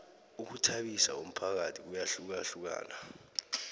ukhuthabisa umphakathi kuyahlukahlukana